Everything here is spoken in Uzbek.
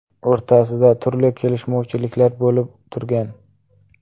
o‘rtasida turli kelishmovchiliklar bo‘lib turgan.